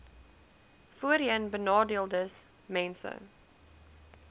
voorheenbenadeeldesmense